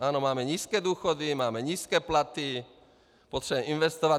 Ano, máme nízké důchody, máme nízké platy, potřebujeme investovat.